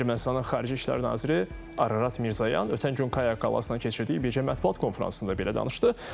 Ermənistanın xarici işlər naziri Ararat Mirzoyan ötən gün Kaya Kalasına keçirdiyi bicə mətbuat konfransında belə danışdı.